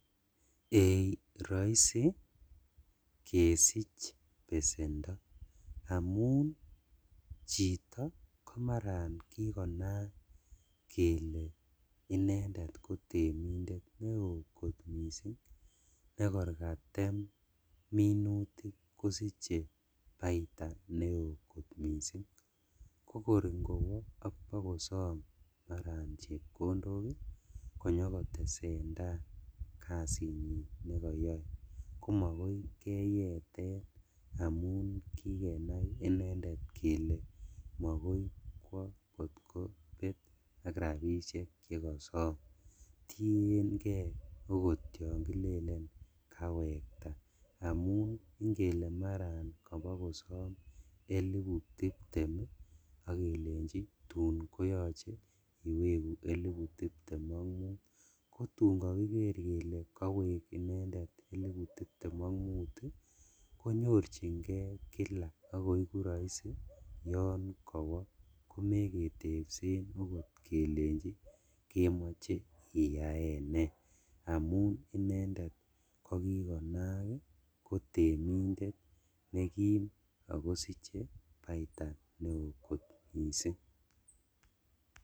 Ei roisi kesich besendo amun chito komaran kikonaak kele inendet kotemindet neo kot missing' nekor katem minutik kosiche baita neo kot missing', kokor ingowo bokosom alan chepkondok ii konyokotesendaa kazinyin nekoyoe komokoi keyeten amun kikenai inendet kele mokoi kwo kotkobet ak rabishek chekosom tiengee okot yon kilelen kawekta amun ingele maran kobokosom elipu tiptem ii ok kelenjin tun koyoche iweku elipu tiptem ok mut kotun kokiker kele kowek inendet elipu tiptem ok mut ii konyorjingee kila ok koiku roisi yon kowo komeketepsen okot kelenji kemoche iyaen nee amun inendet kokikonaak ii ako temindet nekim akosiche baita neo kot missing'.